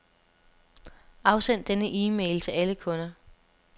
Afsend denne e-mail til alle kunder.